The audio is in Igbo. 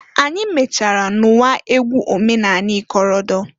Anyị mechaara nụwa egwu omenanị ikorodo.